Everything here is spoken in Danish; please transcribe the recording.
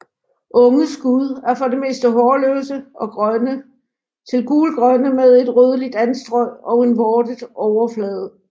Unge skud er for det meste hårløse og grønne til gulgrønne med en rødligt anstrøg og en vortet overflade